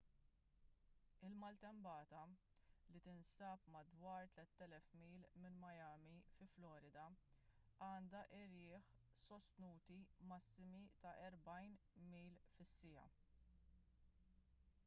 il-maltempata li tinsab madwar 3,000 mil minn miami fi florida għandha irjieħ sostnuti massimi ta' 40 mph 64 kph